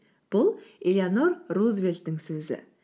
бұл элеонор рузвельттің сөзі